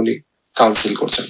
উনি council করছেন